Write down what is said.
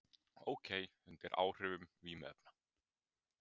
Ók undir áhrifum vímuefna